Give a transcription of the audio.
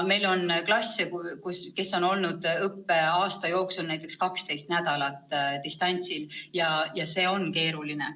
Meil on klasse, kes on olnud õppeaasta jooksul näiteks 12 nädalat distantsõppel, ja see on keeruline.